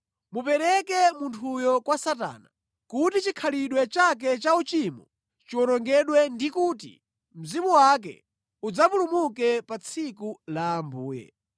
mumupereke munthuyu kwa Satana, kuti chikhalidwe chake cha uchimo chiwonongedwe ndikuti mzimu wake udzapulumuke pa tsiku la Ambuye.